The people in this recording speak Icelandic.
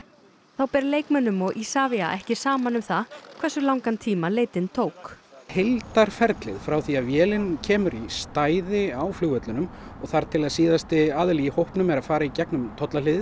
þá ber leikmönnum og Isavia ekki saman um það hversu langan tíma leitin tók heildarferlið frá því að vélin kemur í stæði á flugvellinum og þar til að síðasti aðili í hópnum er að fara í gegnum